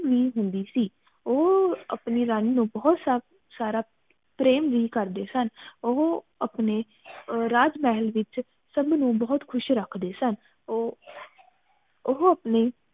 ਵੀ ਹੁੰਦੀ ਸੀ ਉਹ ਅਪਣੀ ਰਾਣੀ ਨੂੰ ਬਹੁਤ ਸਾਰਾ ਪ੍ਰੇਮ ਵੀ ਕਰਦੇ ਸਨ ਉਹ ਅਪਣੇ ਰਾਜਮਹਲ ਵਿਚ ਸਬ ਨੂੰ ਬਹੁਤ ਖੁਸ਼ ਰੱਖਦੇ ਸਨ ਉਹ ਉਹ ਅਪਣੀ